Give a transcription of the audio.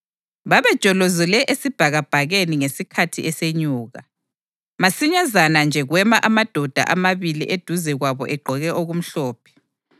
Babejolozele esibhakabhakeni ngesikhathi esenyuka, masinyazana nje kwema amadoda amabili eduze kwabo egqoke okumhlophe.